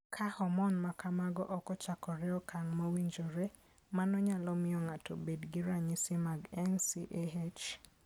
Ka hormone ma kamago ok ochakore e okang' mowinjore, mano nyalo miyo ng'ato obed gi ranyisi mag NCAH.